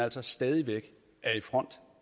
altså stadig væk er i front